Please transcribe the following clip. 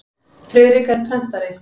Friðrik er prentari.